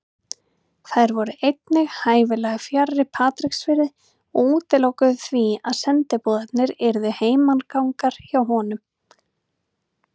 Þær voru einnig hæfilega fjarri Patreksfirði og útilokuðu því að sendiboðarnir yrðu heimagangar hjá honum.